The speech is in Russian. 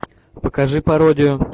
покажи пародию